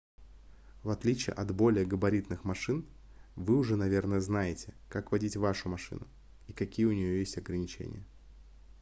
в отличие от более габаритных машин вы уже наверное знаете как водить вашу машину и какие у неё есть ограничения